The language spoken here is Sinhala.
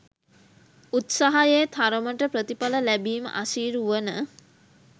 උත්සාහයේ තරමට ප්‍රතිඵල ලැබිම අසීරු වන